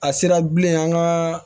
A sera bilen an ka